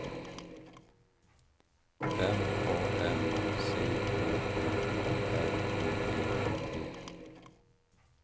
M A N C H U R I E T